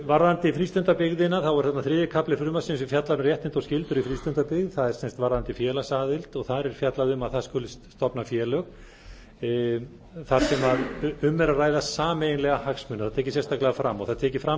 varðandi frístundabyggðina er þriðji kafli frumvarpsins sem fjallar um réttindi og skyldur í frístundabyggð það er varðandi félagsaðild og þar er fjallað um að það skuli stofna félög þar sem um er að ræða sameiginlega hagsmuni það er tekið sérstaklega fram það er tekið fram